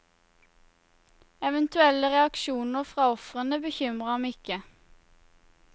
Eventuelle reaksjoner fra ofrene bekymrer ham ikke.